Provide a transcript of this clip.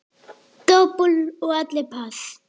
Dobl og allir pass.